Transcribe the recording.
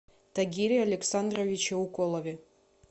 тагире александровиче уколове